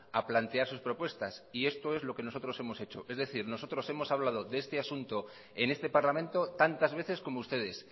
a plantear sus propuestas y esto es lo que nosotros hemos hecho es decir nosotros hemos hablado de este asunto en este parlamento tantas veces como ustedes